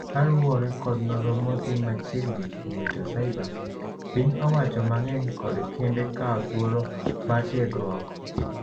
kaluwore kod nonro motim machiegnikuom rito cibre, piny owacho mang'eny kod kembe kawo thuolo mar tiegruok